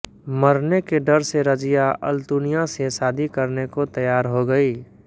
मरने के डर से रज़िया अल्तुनिया से शादी करने को तैयार हो गयी